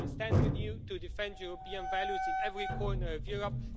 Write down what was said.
we will stand with you to defend European values in every corner of Europe.